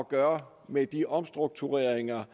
gøre med de omstruktureringer